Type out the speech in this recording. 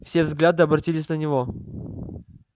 все взгляды обратились на него